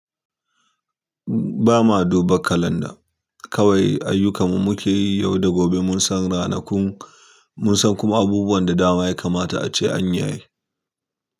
Ba ma du ba kalanda, kawai ayyukan mu muke yi yau da gobe. Mun san ranakun, mun san kuma abubuwan da dama ya kamata ace an yi.